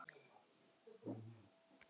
Allt snýst um Ég, mig, mér, mín.